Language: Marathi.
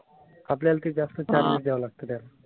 आपल्याला ते जास्त charges द्यावं लागतं त्यांना.